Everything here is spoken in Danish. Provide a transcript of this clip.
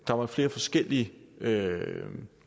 der var flere forskellige